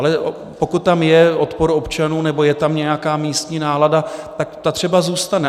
Ale pokud tam je odpor občanů nebo je tam nějaká místní nálada, tak ta třeba zůstane.